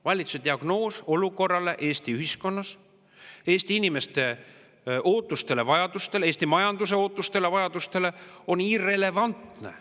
Valitsuse diagnoos olukorrale Eesti ühiskonnas ning Eesti inimeste ja majanduse ootustele-vajadustele on irrelevantne.